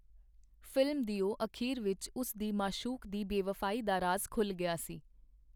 Film ਦਿਓ ਅਖੀਰ ਵਿੱਚ ਉਸ ਦੀ ਮਾਸ਼ੂਕ ਦੀ ਬੇਵਫਾਈ ਦਾ ਰਾਜ਼ ਖੁਲ੍ਹ ਗਿਆ ਸੀ.